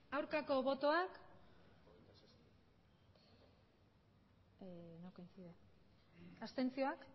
aurkako botoak emandako botoak